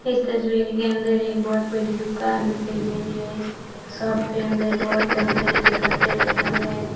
इस तस्वीर के अंदर एक बहुत बड़ी दुकान दिखाई दे रही है शॉप के अंदर बहुत तरह-तरह के कपड़े रखे हुए है।